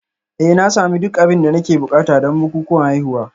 Eh na sami duk abin da nake buƙata don bukukuwan haihuwa